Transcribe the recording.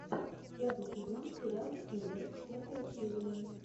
пятый сезон сериал хилер пятая серия